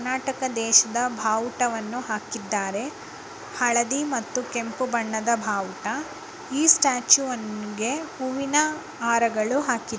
ಕರ್ನಾಟಕ ದೇಶದ ಭಾವುಟವನ್ನು ಹಾಕಿದ್ದಾರೆ ಹಳದಿ ಮತ್ತು ಕೆಂಪು ಬಣ್ಣದ ಭಾವುಟ . ಈ ಸ್ಟ್ಯಾಚುವಿಗೆ ಹೂವಿನ ಹಾರಗಳು ಹಾಕಿ--